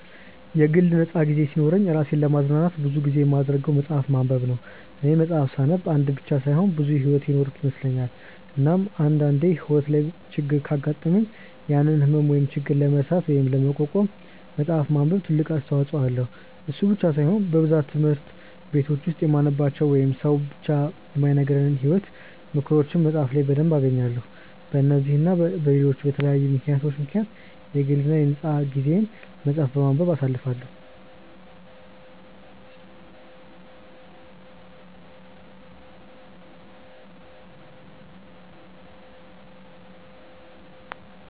የግል ነፃ ጊዜ ሲኖረኝ እራሴን ለማዝናናት ብዙ ጊዜ የማደርገው መፅሐፍ ማንበብ ነው፦ እኔ መፅሐፍ ሳነብ አንድ ብቻ ሳይሆን ብዙ ሕይወት የኖርኩ ይመስለኛል፤ እናም አንድ አንዴ ሕይወቴ ላይ ችግር ካጋጠመኝ ያንን ህመም ወይም ችግር ለመርሳት ወይም ለመቋቋም መፅሐፍ ማንበብ ትልቅ አስተዋጽኦ አለው፤ እሱ ብቻ ሳይሆን በብዛት ትምህርት በቲች ውስጥ የማንማራቸው ወይንም ሰው ብዙ የማይነግረንን የሕይወት ምክሮችን መፅሐፍ ላይ በደንብ እናገኛለን፤ በነዚህ እና በለሎች በተለያዩ ምክንያቶች ምክንያት የግል የ ነፃ ጊዜየን መፅሐፍ በማንበብ አሳልፈዋለው።